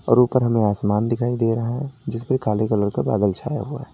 और ऊपर हमें आसमान दिखाई दे रहा है जिस पे काले कलर का बादल छाया हुआ है।